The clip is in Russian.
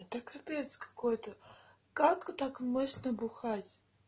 это капец какой-то как так можно бухать